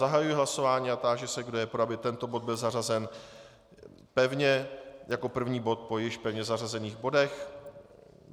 Zahajuji hlasování a táži se, kdo je pro, aby tento bod byl zařazen pevně jako první bod po již pevně zařazených bodech.